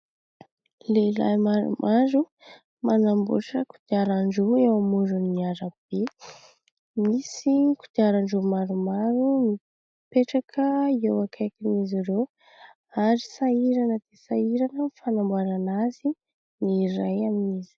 Lehilahy maromaro, manamboatra kodiarandro eo amoron'ny arabe. Misy kodiarandro maromaro mipetraka eo akaikin'izy ireo ary sahirana dia sahirana amin'ny fanamboarana azy ny iray amin'izy.